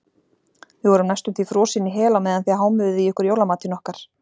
Við vorum næstum því frosin í hel á meðan þið hámuðuð í ykkur jólamatinn okkar.